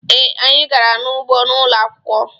Ee, anyị gara n'ugbo ụlọ akwukwọ.